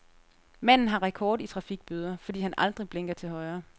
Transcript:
Manden har rekord i trafikbøder, fordi han aldrig blinker til højre.